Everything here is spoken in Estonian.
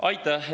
Aitäh!